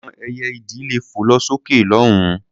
Àwọn ẹyẹ-idì lè fò lọ sókè lọ́hùn-ún.